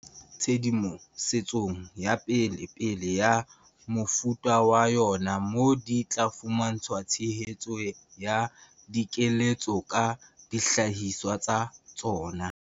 tshedimo setsong ya pelepele ya mofuta wa yona moo di tla fuma ntshwang tshehetso ya dikeletso ka dihlahiswa tsa tsona.